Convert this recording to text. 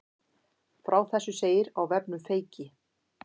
Frá þessu segir á vefnum Feyki